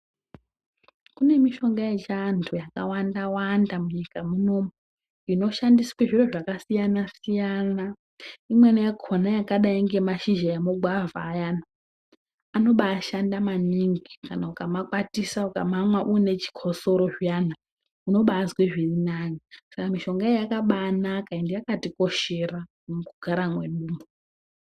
Kune mishonga yechiantu yakawanda wanda munyika munomu, inoshandiswe zviro zvakasiyana siyana, imweni yakona yakadai ngemashizha emugwavha ayana anobashanda maningi kana ukamakwatisa ukamamwa uine chikosoro zviyana unobazwe zviri nani ska mishonga iyi yakabanaka ende yakatikoshera mukugara mwedumwo.